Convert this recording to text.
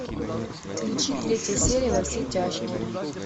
включи третья серия во все тяжкие